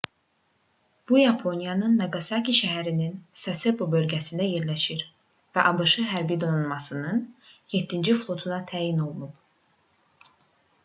bu yaponiyanın naqasaki şəhərinin sasebo bölgəsində yerləşir və abş hərbi donanmasının 7-ci flotuna təyin olunub